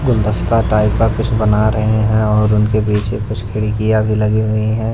गुलदस्ता टाइप का कुछ बना रहे हैं और उनके पीछे कुछ खिड़कियां भी लगी हुई है।